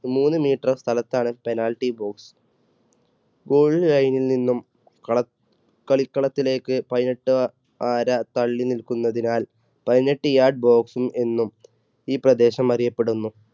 മൂന്ന് meter സ്ഥലത്താണ് penalty post. goal line ൽ നിന്നും കള കളികളത്തിലേക്ക് പതിനെട്ട് അര തള്ളി നിൽക്കുന്നതിനാൽ പതിനെട്ട് yard box എന്നും ഈ പ്രദേശം അറിയപ്പെടുന്നു.